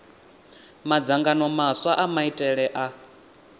madzangano maswa a maitele a